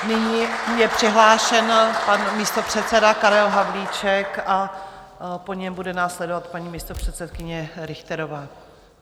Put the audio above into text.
Nyní je přihlášen pan místopředseda Karel Havlíček a po něm bude následovat paní místopředsedkyně Richterová.